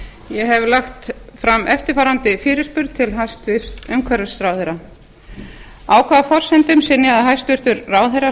ég hef lagt fram eftirfarandi fyrirspurn til hæstvirts umhverfisráðherra á hvaða forsendum synjaði ráðherra